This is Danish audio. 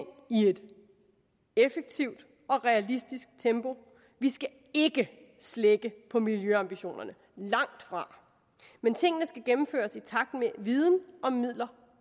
et effektivt og realistisk tempo vi skal ikke slække på miljøambitionerne langt fra men tingene skal gennemføres i takt med at viden og midler